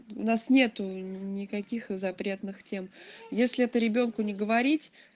нас нету никаких запретных тем если это ребёнку не говорить